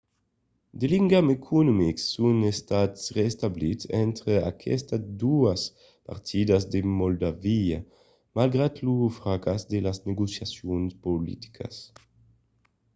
de ligams economics son estats reestablits entre aquestas doas partidas de moldàvia malgrat lo fracàs de las negociacions politicas